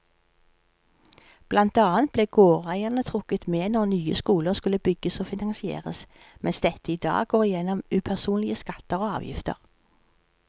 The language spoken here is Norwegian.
Blant annet ble gårdeierne trukket med når nye skoler skulle bygges og finansieres, mens dette i dag går gjennom upersonlige skatter og avgifter.